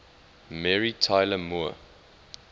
mary tyler moore